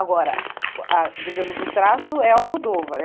Agora, a digamos, o traço é Almodóvar. é